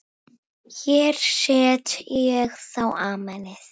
Hér set ég þá Amenið.